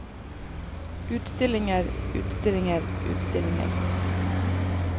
utstillinger utstillinger utstillinger